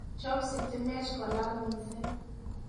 chob sitimet kolal missing